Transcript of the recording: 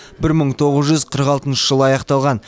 бір мың тоғыз жүз қырық алтыншы жылы аяқталған